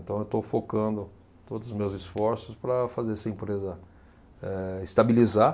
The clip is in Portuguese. Então eu estou focando todos os meus esforços para fazer essa empresa, eh, estabilizar.